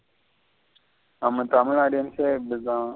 நம்ம தமிழ் audience யே இப்படித்த.